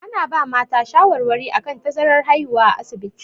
Ana ba mata shawarwari akan tazarar haihuwa a asibiti.